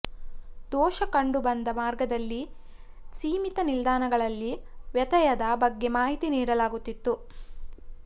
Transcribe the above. ದೋಷ ಕಂಡುಬಂದ ಮಾರ್ಗದಲ್ಲಿ ಸೀಮಿತ ನಿಲ್ದಾಣಗಳಲ್ಲಿ ವ್ಯತ್ಯಯದ ಬಗ್ಗೆ ಮಾಹಿತಿ ನೀಡಲಾಗುತ್ತಿತ್ತು